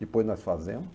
Depois nós fazemos.